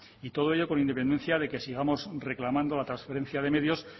y todo ello con independencia de que sigamos reclamando la transferencia de medios